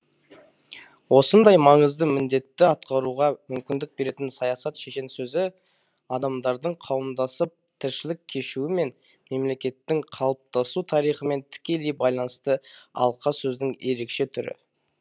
осындай маңызды міндетті атқаруға мүмкіндік беретін саясат шешен сөзі адамдардың қауымдасып тіршілік кешуімен мемлекеттің қалыптасу тарихымен тікелей байланысты алқасөздің ерекше түрі